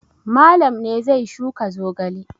Malam ne zai shuka zogale.